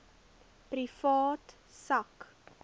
privaat sak